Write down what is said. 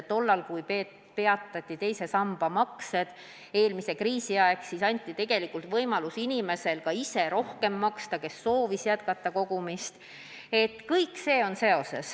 Tollal, kui eelmise kriisi ajal peatati teise samba maksed, siis anti tegelikult inimestele võimalus ka ise rohkem maksta, kui keegi soovis kogumist jätkata.